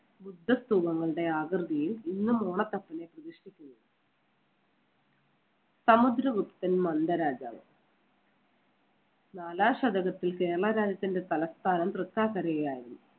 ബുദ്ധ സ്തൂപങ്ങളുടെ ആകൃതിയിൽ ഇന്നും ഓണത്തപ്പനെ പ്രതിഷ്ഠിക്കുന്നത്. സമുദ്രഗുപ്തൻ മന്ദ രാജാവ് നാലാം ശതകത്തിൽ കേരള രാജ്യത്തിന്‍റെ തലസ്ഥാനം തൃക്കാക്കരയായിരുന്നു.